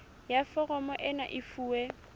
ya foromo ena e fuwe